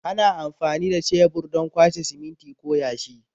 Ana amfani da shebur don kwashe siminti ko yashi.